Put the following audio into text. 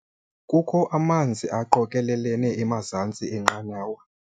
Kukho amanzi aqokelelene emazantsi enqanawa.